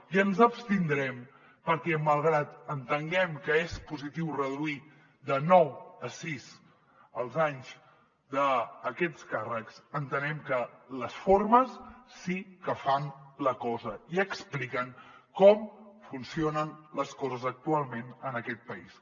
i ens abstindrem perquè malgrat que entenguem que és positiu reduir de nou a sis els anys d’aquests càrrecs entenem que les formes sí que fan la cosa i expliquen com funcionen les coses actualment en aquest país